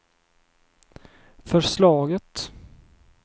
förslaget